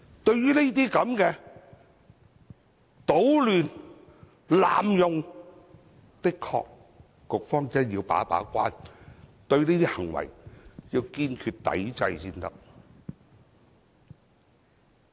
對於這些搗亂、濫用的情況，局方的確需要把一把關，對這些行為要堅決抵制才行。